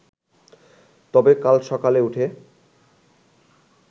তবে কাল সকালে উঠে